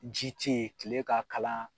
Ji tɛ yen , tile ka kalan.